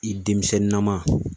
I denmisɛnninnama